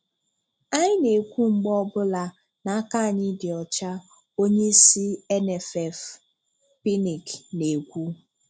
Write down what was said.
Anyị na-ekwu mgbe ọbụla na aka anyị dị ọ̀chá, onyeisi NFF, Pinnick, na-ekwu